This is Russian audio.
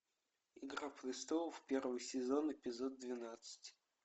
игра престолов первый сезон эпизод двенадцать